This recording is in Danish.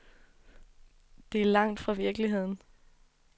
Det er langt fra virkeligheden.